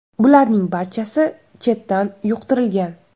Bularning barchasi chetdan yuqtirilgan.